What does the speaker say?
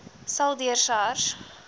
sal deur sars